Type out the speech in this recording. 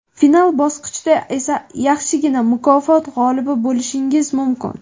final bosqichda esa yaxshigina mukofot g‘olibi bo‘lishingiz mumkin.